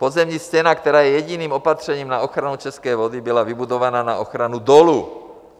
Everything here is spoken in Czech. Podzemní stěna, která je jediným opatřením na ochranu české vody, byla vybudována na ochranu dolu.